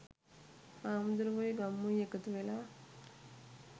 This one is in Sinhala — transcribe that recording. හාමුදුරුවොයි ගම්මුයි එකතුවෙලා